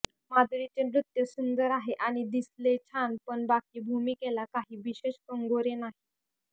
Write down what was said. माधुरीचे नृत्य सुंदर आहे आणि दिसलेय छान पण बाकी भूमिकेला काही विशेष कंगोरे नाहीत